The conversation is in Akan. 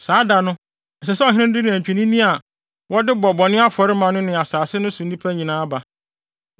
Saa da no ɛsɛ sɛ ɔhene no de nantwinini a wɔde bɛbɔ afɔre ama no ne asase no so nnipa nyinaa ba.